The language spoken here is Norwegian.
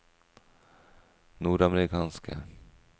nordamerikanske